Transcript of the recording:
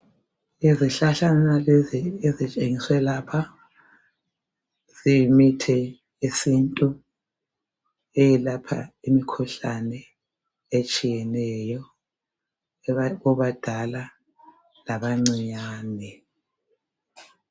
Izihlahlana lezi ezitshengiswe lapha ziyimithi yesiNtu eyelapha imikhuhlane etshiyeneyo kubadala labancinyane .